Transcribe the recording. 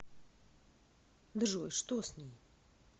джой что с ней